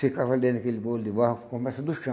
Ficava dentro daquele bolo de barro que começa do chão.